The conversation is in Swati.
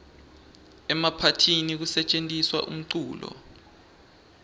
emaphathini kusetjentiswa umculo